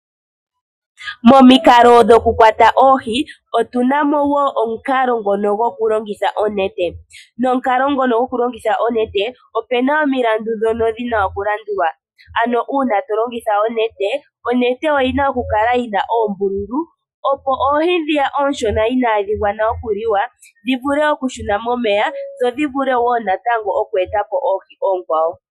Momikalo dhoku kwata oohi otuna mo wo omukalo ngono gokulongitha onete. Nomukalo ngono gokulongitha onete opuna omilandu ndhono dhina okulandulwa. Ano uuna to longitha onete, onete oyina oku kala yina oombululu opo oohi ndhi oonshona inaadhi gwana okuliwa dhi vule okushuna momeya dho dhi vule wo natango okweetapo oohi oonkwawo.